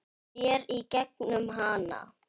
Sér í gegnum hana.